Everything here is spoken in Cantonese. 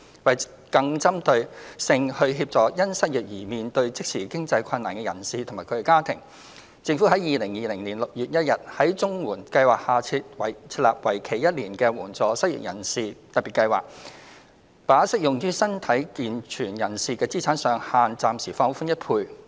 為更針對性地協助因失業而面對即時經濟困難的人士及其家庭，政府於2020年6月1日在綜援計劃下設立為期1年的援助失業人士特別計劃，把適用於身體健全人士的資產上限暫時放寬1倍。